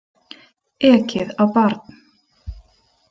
Ekið á barn